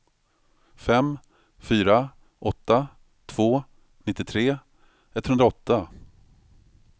fem fyra åtta två nittiotre etthundraåtta